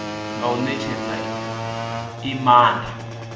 nga u netshedza i maanda